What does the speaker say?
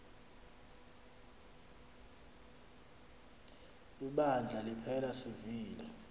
ibandla liphela sivile